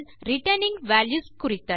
returning values குறித்தது